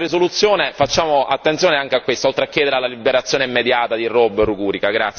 Con questa risoluzione facciamo attenzione anche a questo, oltre a chiedere la liberazione immediata di Bob Rugurika.